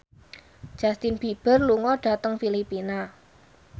Justin Beiber lunga dhateng Filipina